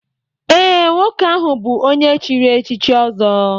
Ee, nwoke ahụ bụ onye e chiri echichi ọzọ